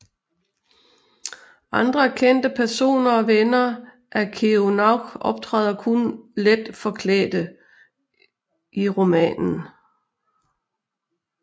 Andre kendte personer og venner af Kerouac optræder kun let forklædte i romanen